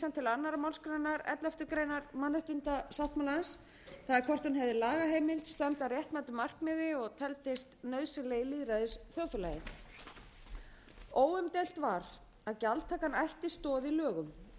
önnur málsgrein elleftu grein mannréttindasáttmálans það er hvort hún hefði lagaheimild standa að réttmætu markmiði og teldist nauðsynleg í lýðræðisþjóðfélagi óumdeilt var að gjaldtakan ætti stoðir í lögum og